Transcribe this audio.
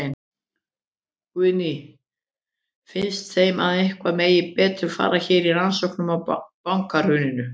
Guðný: Finnst þeim að eitthvað megi betur fara hér í rannsóknina á bankahruninu?